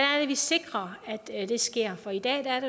vi sikrer at det sker for i dag er